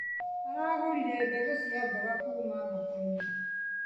Aragũrire mbegũ cia mboga kuma thokoinĩ.